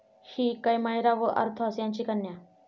हि कैमायरा व और्थास यांची कन्या.